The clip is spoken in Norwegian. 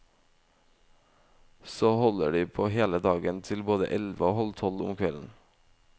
Og så holder de på hele dagen til både elleve og halv tolv om kvelden.